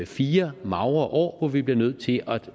fire magre år hvor vi bliver nødt til at